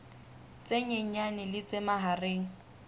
tse nyenyane le tse mahareng